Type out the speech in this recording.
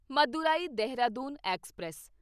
Madurai Dehradun express